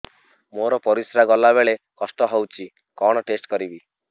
ମୋର ପରିସ୍ରା ଗଲାବେଳେ କଷ୍ଟ ହଉଚି କଣ ଟେଷ୍ଟ କରିବି